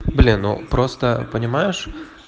блин ну просто понимаешь